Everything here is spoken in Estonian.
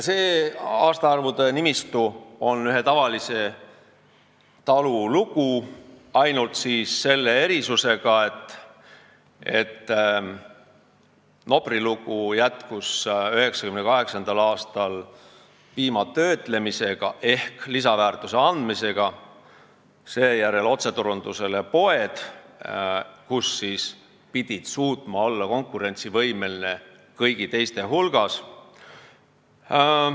See siinne aastaarvude nimistu on ühe tavalise talu lugu, ainult selle erisusega, et Nopri lugu jätkus 1998. aastal piima töötlemisega ehk lisaväärtuse andmisega, misjärel tuli otseturundus poodidele, kus pidi suutma olla konkurentsivõimeline kõigi teiste hulgas.